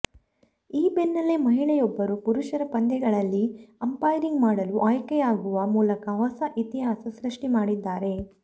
ಈ ಬೆನ್ನಲ್ಲೇ ಮಹಿಳೆಯೊಬ್ಬರು ಪುರುಷರ ಪಂದ್ಯಗಳಲ್ಲಿ ಅಂಪೈರಿಂಗ್ ಮಾಡಲು ಆಯ್ಕೆಯಾಗುವ ಮೂಲಕ ಹೊಸ ಇತಿಹಾಸ ಸೃಷ್ಟಿ ಮಾಡಿದ್ದಾರೆ